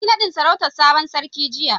An yi nadin sarautan sabon sarkin jiya.